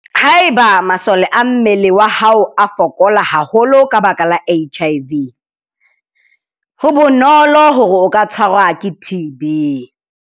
Haeba masole a mmele wa hao a fokola haholo ka baka la HIV, ho bonolo hore o ka tshwarwa ke TB.